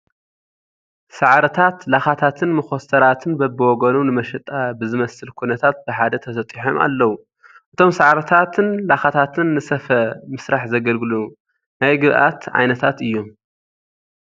ሳዕርታት፣ ላኻታትን መኾስተራትን በብወገኖም ንመሸጣ ብዝመስል ኩነታት ብሓደ ተሰጢሖም ኣለዉ፡፡ እቶም ሳዕርታትን ላኻታትን ንስፈ ምስራሕ ዘገልግሉ ናይ ግብኣት ዓይነታት እዮም፡፡